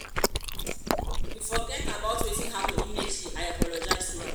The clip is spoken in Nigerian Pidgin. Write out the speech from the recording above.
he forget about wetin happen immediately i apologize to am